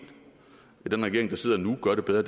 at den regering der sidder nu gør det bedre